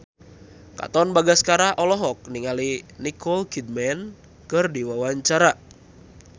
Katon Bagaskara olohok ningali Nicole Kidman keur diwawancara